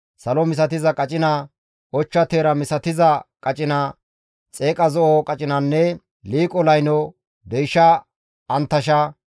salo misatiza qacina, ochcha teera misatiza qacina, xeeqa zo7o qacinanne liiqo layno, deysha anttasha,